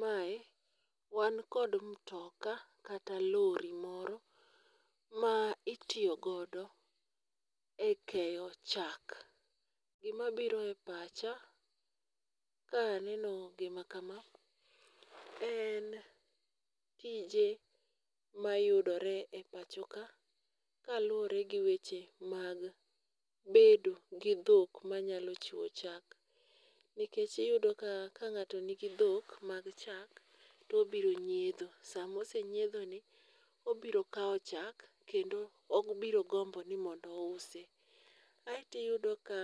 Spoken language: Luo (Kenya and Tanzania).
Mae wan kod mtoka kata lori moro ma itiyo godo e keyo chak. Gima biro e pacha ka aneno gima kama en tije mayudore e pacho ka, ka luwore gi weche mag bedo gi dhok manyalo chiwo chak. Nikech iyudo ka, ka ng'ato nigi dhok mag chak, to obiro nyiedho. Sama osenyiedhoni obiro kawo chak kendo obiro gombo ni mondo usi. Aeto iyudo ka